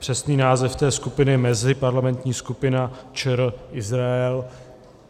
Přesný název té skupiny je Meziparlamentní skupina ČR - Izrael.